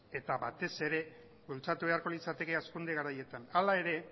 eta batez ere bultzatu beharko litzateke hazkunde garaietan hala ere